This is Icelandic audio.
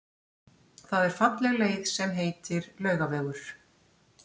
Það er falleg leið sem heitir Laugavegur.